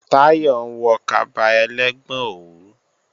Táyọ̀ ń wọ kaba ẹlẹ́gbọn òwú